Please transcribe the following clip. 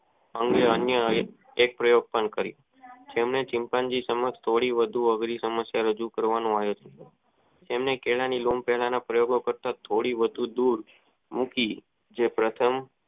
આવો અન્યાય એક પ્રાયોસન કરી છેલ્લે ચિતંન જીસમય થોડી વધુ સમસ્યા રજૂ કરવાનો આનંદ તેને કેળા ની લઉં લેવાનો પ્રયત્ન થોડી વધુ દૂર મૂકી જો પ્રથમ